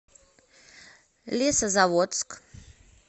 лесозаводск